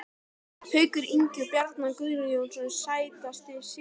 Haukur Ingi og Bjarni Guðjóns Sætasti sigurinn?